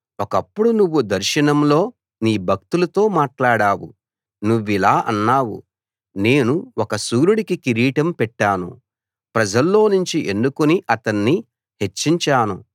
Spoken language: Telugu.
ఒకప్పుడు నువ్వు దర్శనంలో నీ భక్తులతో మాట్లాడావు నువ్విలా అన్నావు నేను ఒక శూరుడికి కిరీటం పెట్టాను ప్రజల్లోనుంచి ఎన్నుకుని అతణ్ణి హెచ్చించాను